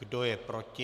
Kdo je proti?